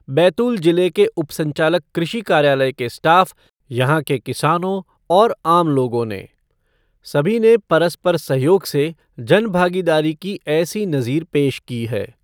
बैतूल जिले के उपसंचालक कृषि कार्यालय के स्टाफ़, यहां के किसानों और आम लोगों ने, सभी ने परस्पर सहयोग से जनभागीदारी का ऐसी नज़ीर पेश की है।